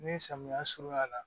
Ni samiya surunyana